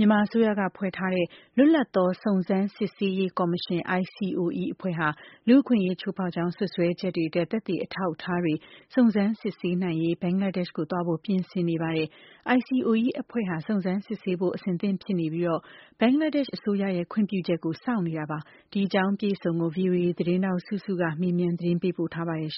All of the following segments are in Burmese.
မြန်မာအစိုးရက ဖွဲ့ထားတဲ့ လွတ်လပ်သောစုံစမ်း စစ်ဆေးရေးကော်မရှင် (ICOE) အဖွဲ့ဟာ လူ့အခွင့်အရေး ချိုးဖောက်ကြောင်း စွပ်စွဲချက်တွေအတွက် သက်သေအထောက်အထားတွေ စုံစမ်းစစ်ဆေးနိုင်ရေး ဘင်္ဂလားဒေ့ရှ်ကို သွားဖို့ ပြင်ဆင်နေပါတယ်။ ICOE အဖွဲ့ဟာ စုံစမ်းစစ်ဆေးဖို့ အဆင်သင့်ဖြစ်နေပြီး၊ ဘင်္ဂလားဒေ့ရှ်အစိုးရရဲ့ ခွင့်ပြုချက်ကိုစောင့်နေတာပါ။ ဒီအကြောင်း အပြည့်အစုံကို ဗွီအိုအေသတင်းထောက် စုစုက မေးမြန်း ပေးပို့ထားပါတယ်။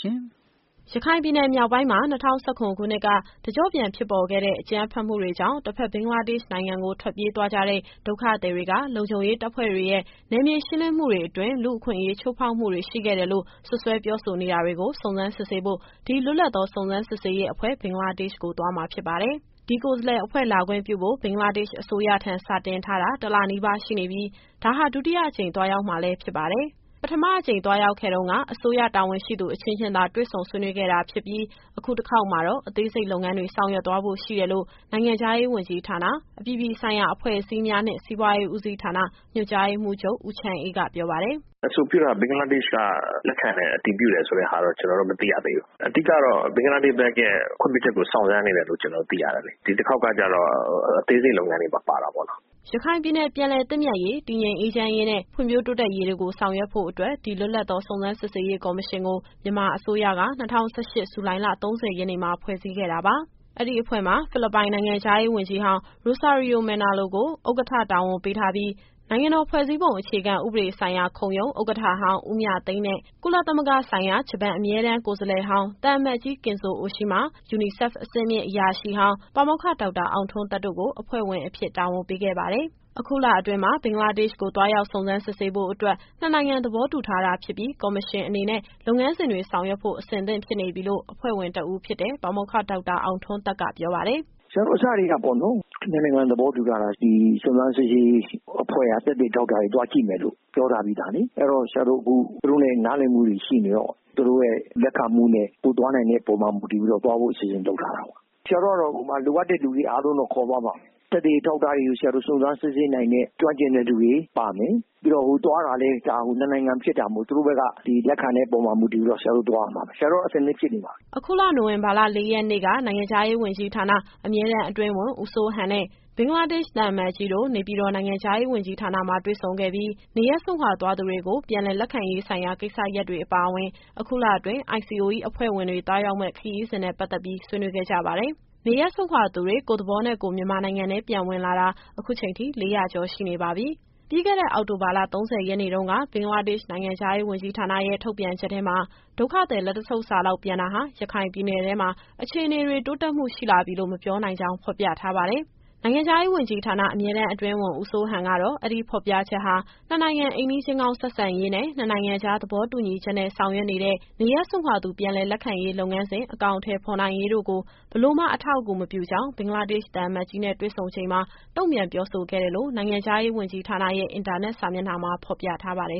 ရခိုင်ပြည်နယ် မြောက်ပိုင်းမှာ ၂၀၁၇ ခုနှစ်က တကျော့ပြန်ဖြစ်ပေါ်ခဲ့တဲ့ အကြမ်းဖက်မှုတွေကြောင့် တဘက် ဘင်္ဂလားဒေ့ရှ်နိုင်ငံဘက်ကို ထွက်ပြေးသွားကြတဲ့ ဒုက္ခသည်တွေက လုံခြုံရေးတပ်ဖွဲ့တွေရဲ့ နယ်မြေ ရှင်းလင်းမှုတွေအတွင်း လူ့အခွင့်အရေး ချိုးဖောက်မှုတွေ ရှိခဲ့တယ်လို့ စွပ်စွဲ ပြောဆို နေတာတွေကို စုံစမ်း စစ်ဆေးဖို့ ဒီ လွတ်လပ်သော စုံစမ်းစစ်ဆေးရေးအဖွဲ့ ဘင်္ဂလားဒေ့ရှ်ကို သွားမှာဖြစ်ပါတယ်။ ဒီကိုယ်စားလှယ်အဖွဲ့ လာခွင့်ပြုဖို့ ဘင်္ဂလားဒေ့ရှ် အစိုးရထံ စာတင်ထားတာ တစ်လနီးပါးရှိနေပြီး ဒါဟာ ဒုတိယအကြိမ် သွားရောက်မှာလည်း ဖြစ်ပါတယ်။ ပထမအကြိမ် သွားရောက်ခဲ့တုန်းက အစိုးရ တာဝန်ရှိသူအချင်းချင်းသာ တွေ့ဆုံဆွေးနွေးခဲ့တာဖြစ်ပြီး၊ အခု တခေါက်မှာတော့ အသေးစိတ် လုပ်ငန်းတွေ ဆောင်ရွက်သွားဖို့ရှိတယ်လို့ နိုင်ငံခြားရေးဝန်ကြီးဌာန၊ အပြည်အပြည်ဆိုင်ရာ အဖွဲ့အစည်းများနှင့် စီးပွားရေးဦးစီးဌာန ညွှန်ကြားရေးမှူးချုပ် ဦးချမ်းအေးက ပြောပါတယ်။ “အဆိုပြုထားတာ ဘင်္ဂလားဒေ့ရှ်က လက်ခံတယ်၊ အတည်ပြုတယ်ဆိုတဲ့ဟာတော့ ကျတော်တို့ မသိရသေးဘူး။ အဓိကတော့ ဘင်္ဂလားဒေ့ရှ်ဘက်ရဲ့ ခွင့်ပြုချက်ကို စောင့်ဆိုင်းနေတယ်လို့ ကျတော်တို့ သိရတယ်လေ။ ဒီတခေါက်ကကျတော့ အသေးစိတ်လုပ်ငန်းတွေပါ ပါတာပေါ့နော်။” ရခိုင်ပြည်နယ် ပြန်လည်သင့်မြတ်ရေး၊ တည်ငြိမ်အေးချမ်းရေးနဲ့ ဖွံ့ဖြိုးတိုးတက်ရေးတို့ကို ဆောင်ရွက်ဖို့အတွက် ဒီ လွတ်လပ်သောစုံစမ်း စစ်ဆေးရေးကော်မရှင်ကို မြန်မာအစိုးရက ၂၀၁၈၊ ဇူလိုင်လ ၃၀ရက်နေ့မှာ ဖွဲ့စည်းခဲ့တာပါ။ အဲဒီအဖွဲ့မှာ ဖိလစ်ပိုင် နိုင်ငံခြားရေး ဝန်ကြီးဟောင်း Rosario Manalo ကို ဥက္ကဋ္ဌတာဝန် ပေးထားပြီး၊ နိုင်ငံတော်ဖွဲ့စည်းပုံ အခြေခံဥပဒေဆိုင်ရာခုံရုံး ဥက္ကဋ္ဌဟောင်း ဦးမြသိန်းနဲ့ ကုလသမဂ္ဂဆိုင်ရာ ဂျပန်အမြဲတမ်း ကိုယ်စားလှယ်ဟောင်း သံအမတ်ကြီး Kenzo Oshima ၊ ယူနီဆက်အဆင့်မြင့် အရာရှိဟောင်း ပါမောက္ခ ဒေါက်တာ အောင်ထွန်းသက် တို့ကို အဖွဲ့ဝင်အဖြစ် တာဝန်ပေးခဲ့ပါတယ်။ အခုလအတွင်းမှာ ဘင်္ဂလားဒေ့ရှ်ကို သွားရောက် စုံစမ်းစစ်ဆေးဖို့အတွက် နှစ်နိုင်ငံ သဘောတူ ထားတာဖြစ်ပြီး၊ ကော်မရှင်အနေနဲ့ လုပ်ငန်းစဉ်တွေ ဆောင်ရွက်ဖို့ အဆင်သင့်ဖြစ်နေပြီလို့ အဖွဲ့ဝင် တဦးဖြစ်တဲ့ ပါမောက္ခ ဒေါက်တာအောင်ထွန်းသက်က ပြောပါတယ်။ “ဆရာတို့ အစတည်းကပေါ့နော် နှစ်နိုင်ငံသဘောတူထားတာ။ ဒီစုံစမ်းစစ်ဆေးရေးအဖွဲ့က သက်သေအထောက်အထားတွေ သွားကြည့်မယ်လို့ ပြောထားပြီးသားလေ။ အဲတော့ ဆရာတို့အခု သူတို့နဲ့နားလည်မှုတွေ ရှိနေတော့ သူတို့ရဲ့လက်ခံမှုနဲ့ တို့သွားနိုင်တဲ့ပေါ်မှာ မူတည်ပြီးတော့ သွားဖို့အစီအစဉ်လုပ်ထားတာပေါ့။ ဆရာတို့ကတော့ ဟိုမှာ လိုအပ်တဲ့လူတွေအားလုံး ခေါ်သွားမှာ။ သက်သေအထောက် အထားတွေကို စုံစမ်းစစ်ဆေးနိုင်တဲ့ ကျွမ်းကျင်တဲ့လူတွေပါမယ်။ ပြီးတော့ သွားတာလည်း ဒါနှစ်နိုင်ငံဖြစ်တာမို့ သူတို့ဘက်က ဒီလက်ခံတဲ့ပေါ်မှာ မူတည်ပြီးတော့ ဆရာတို့သွားရမှာပဲ။ ဆရာတို့က အဆင်သင့်ဖြစ်နေပါပြီ။” အခုလ နိုဝင်ဘာ၊ ၄ရက်နေ့က နိုင်ငံခြားရေးဝန်ကြီးဌာန၊ အမြဲတမ်းအတွင်းဝန် ဦးစိုးဟန်နဲ့ ဘင်္ဂလားဒေ့ရှ် သံအမတ်ကြီးတို့ နေပြည်တော်၊ နိုင်ငံခြားရေးဝန်ကြီးဌာနမှာ တွေ့ဆုံခဲ့ပြီး နေရပ်စွန့်ခွာသွားသူတွေကို ပြန်လည်လက်ခံရေးဆိုင်ရာ ကိစ္စရပ်တွေအပါအဝင်၊ အခုလအတွင်း ICOE အဖွဲ့ဝင်တွေ သွားရောက်မယ့်ခရီးစဉ်နဲ့ ပတ်သက်ပြီး ဆွေးနွေးခဲ့ကြပါတယ်။ နေရပ်စွန့်ခွာသူတွေ ကိုယ့်သဘောနဲ့ကိုယ် မြန်မာနိုင်ငံထဲ ပြန်ဝင်လာတာ အခုချိန်ထိ ၄၀၀ ကျော်ရှိနေပါပြီ။ ပြီးခဲ့တဲ့ အောက်တိုဘာလ ၃၀ရက်နေ့တုန်းက ဘင်္ဂလားဒေ့ရှ် နိုင်ငံခြားရေးဝန်ကြီးဌာနရဲ့ ထုန်ပြန်ချက်ထဲမှာ ဒုက္ခသည်လက်တဆုပ်စာလောက် ပြန်တာဟာ ရခိုင်ပြည်နယ်ထဲမှာ အခြေအနေတွေ တိုးတက်မှုရှိလာပြီလို့ မပြောနိုင်ကြောင်း ဖော်ပြထားပါတယ်။ နိုင်ငံခြားရေးဝန်ကြီးဌာန အမြဲတမ်းအတွင်းဝန် ဦးစိုးဟန်ကတော့ အဲဒီဖော်ပြချက်ဟာ နှစ်နိုင်ငံ အိမ်နီးချင်းကောင်းဆက်ဆံရေးနဲ့ နှစ်နိုင်ငံကြား သဘောတူညီချက်နဲ့ ဆောင်ရွက်နေတဲ့ နေရပ်စွန့်ခွာသူ ပြန်လည်လက်ခံရေး လုပ်ငန်းစဉ်အကောင်အထည်ဖော်နိုင်ရေးတို့ကို ဘယ်လိုမှ အထောက်အကူမပြုကြောင်း ဘင်္ဂလားဒေ့ရှ်သံအမတ်ကြီးနဲ့ တွေ့ဆုံချိန်မှာ တုံ့ပြန်ပြောဆိုခဲ့တယ်လို့ နိုင်ငံခြားရေးဝန်ကြီးဌာနရဲ့ အင်တာနက် စာမျက်နှာမှာ ဖော်ပြထားပါတယ်